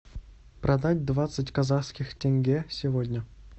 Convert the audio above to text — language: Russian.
продать двадцать казахских тенге сегодня